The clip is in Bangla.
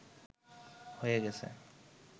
হয়ে গেছে